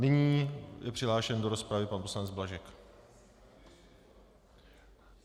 Nyní je přihlášen do rozpravy pan poslanec Blažek.